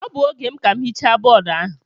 Ọ bụ oge m ka m hichaa bọọdụ ahụ.